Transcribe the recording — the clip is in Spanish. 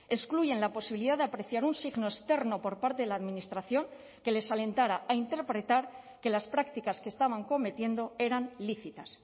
excluyen la posibilidad de apreciar un signo externo por parte de la administración que les alentara a interpretar que las prácticas que estaban cometiendo eran lícitas